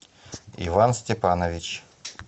иван степанович